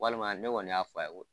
Walima ne kɔni y'a fɔ a ye